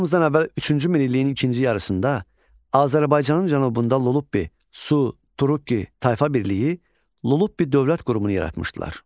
Eramızdan əvvəl üçüncü minilliyin ikinci yarısında Azərbaycanın cənubunda Lullubi, Su, Turukki tayfa birliyi Lullubi dövlət qurumunu yaratmışdılar.